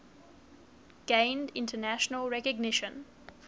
gained international recognition